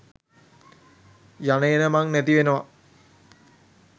යන එන මං නැති වෙනව.